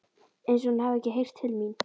Einsog hún hafi ekki heyrt til mín.